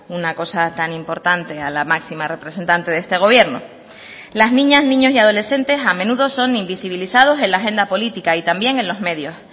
una cosa tan importante a la máxima representante de este gobierno las niñas niños y adolescentes a menudo son invisibilizados en la agenda política y también en los medios